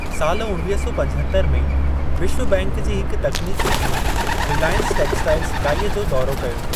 साल उणवीह सौ पंजहतरि में, विश्व बैंक जी हिक तकनीकी टीम 'रिलायंस टेक्सटाइल्स' इकाई जो दौरो कयो।